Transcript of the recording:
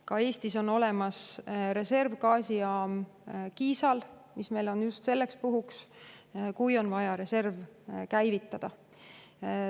Ka Eestis on olemas reservgaasijaam Kiisal, mis on meil just selleks puhuks, kui on vaja reserv käivitada.